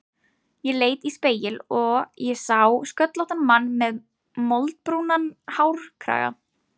Ég leit í spegil og ég sá sköllóttan mann með moldbrúnan hárkraga.